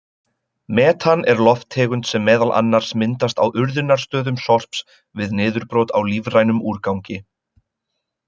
Metan er lofttegund sem meðal annars myndast á urðunarstöðum sorps við niðurbrot á lífrænum úrgangi.